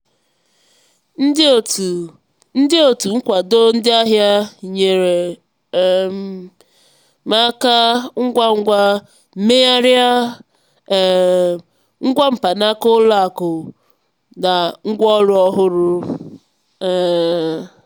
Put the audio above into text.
ndị otu ndị otu nkwado ndị ahịa nyeere um m aka ngwa ngwa megharịa um ngwa mkpanaka ụlọ akụ m na ngwaọrụ ọhụrụ. um